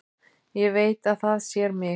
Ég veit að það sér mig.